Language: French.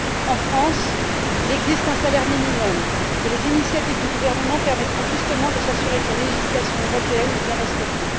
En France, il existe un salaire minimum et les initiatives du gouvernement permettront justement de s'assurer que la législation européenne est bien respectée.